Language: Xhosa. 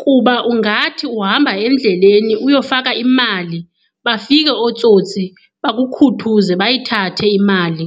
kuba ungathi uhamba endleleni uyofaka imali bafike ootsotsi bakukhuthuze bayithathe imali.